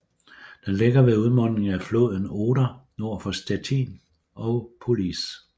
Den ligger ved udmundingen af floden Oder nord for Stettin og Police